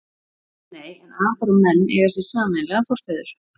Nei, en apar og menn eiga sér sameiginlega forfeður.